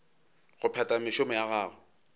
go phetha mešomo ya gagwe